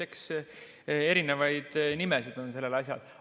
Eks erinevaid nimesid on sellel asjal.